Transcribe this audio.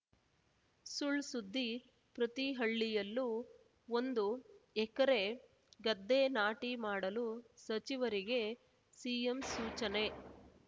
ಸುಳ್‌ ಸುದ್ದಿ ಪ್ರತಿ ಹಳ್ಳಿಯಲ್ಲೂ ಒಂದು ಎಕರೆ ಗದ್ದೆ ನಾಟಿ ಮಾಡಲು ಸಚಿವರಿಗೆ ಸಿಎಂ ಸೂಚನೆ